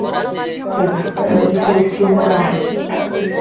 କହିବେ କି ସେଇ stream ରେ ରହ